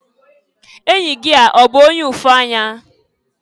Enyi gị a ọ bụ onye ụfụanya?